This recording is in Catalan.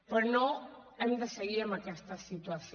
però no hem de seguir en aquesta situació